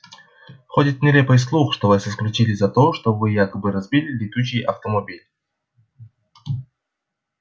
ходит нелепый слух что вас исключили за то что вы якобы разбили летучий автомобиль